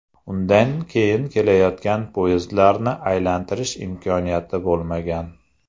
Undan keyin kelayotgan poyezdlarni aylantirish imkoniyati bo‘lmagan.